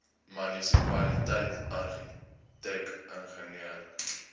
munisipaliteit argitek ingenieur